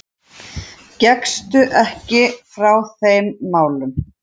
Gekkstu ekki frá þeim málum?